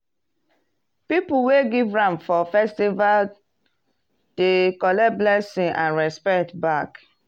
people wey give ram for festival dey collect blessing and respect back.